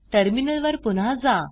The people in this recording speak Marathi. टर्मिनल वर पुन्हा जा